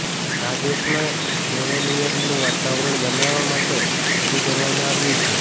આ દેશમાં નેવોનિયનનું વાતાવરણ બનાવવા માટે શરૂ કરવામાં આવ્યું છે